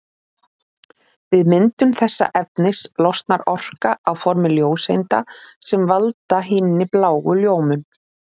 Við myndun þessa efnis losnar orka á formi ljóseinda sem valda hinni bláu ljómun.